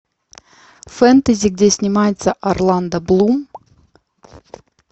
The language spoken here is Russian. фэнтези где снимается орландо блум